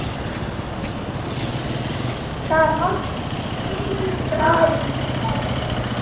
ਧਾਰਾਂ ਕਢਾ ਲਈ ਦੀ